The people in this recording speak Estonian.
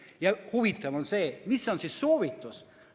Ja huvitav on see, milline on soovitus.